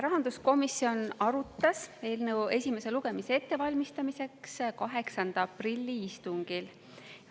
Rahanduskomisjon arutas eelnõu esimese lugemise ettevalmistamiseks 8. aprilli istungil.